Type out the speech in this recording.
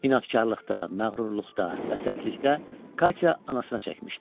İnadkarlıqda, məğrurluqda və sərtlikdə Katya anasına çəkmişdi.